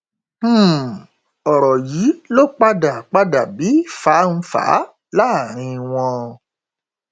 um ọrọ yìí ló padà padà bí fánfàá láàrin wọn